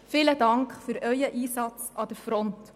Vielen Dank für Ihren Einsatz an der Front.